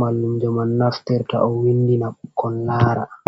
mallum jo man naftirta o windina bkon lara.